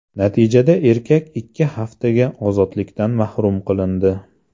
Natijada erkak ikki haftaga ozodlikdan mahrum qilindi.